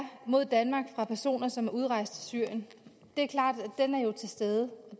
mod danmark fra personer som er udrejst til syrien er til stede og